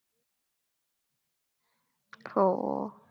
हो.